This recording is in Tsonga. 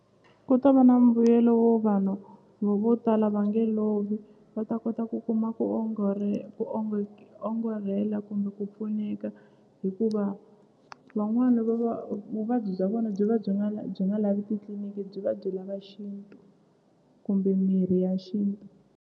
Ku ta va na mbuyelo wo vanhu vo tala va nge lovi va ta kota ku kuma ku ku ongorhela kumbe ku pfuneka hikuva van'wani va va vuvabyi bya vona byi va byi nga byi nga lavi titliniki byi va byi lava xintu kumbe mirhi ya xintu.